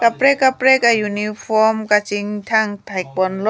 kaprek kaprek uniform kachingthang thek pon long.